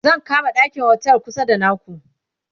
zan kama ɗakin otel kusa da naku